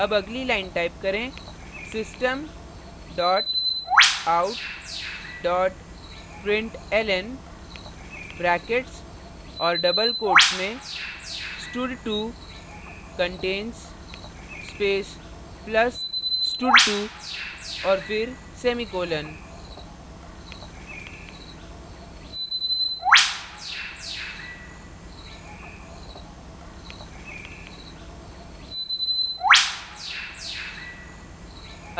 now type next line double अगली line type करें system dot out dot println brackets और double quotes में stud2 contains space plus stud2 और फिर semicolon